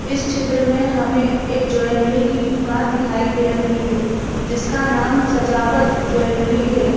इस चित्र में हमें एक ज्वेलरी की दुकान दिखाई दे रही है जिसका नाम सजावत ज्वेलरी है।